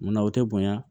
Munna o tɛ bonya